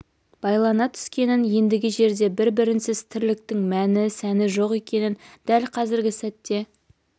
байлана түскенін ендігі жерде бір-бірінсіз тірліктің мәні сәні жоқ екенін дәл қазіргі сәтте